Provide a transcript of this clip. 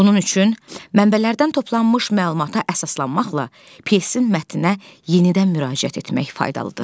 Bunun üçün mənbələrdən toplanmış məlumata əsaslanmaqla pyesin mətninə yenidən müraciət etmək faydalıdır.